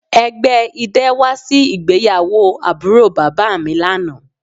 Ẹgbẹ idẹ wa si igbeyawo aburo baba mi lana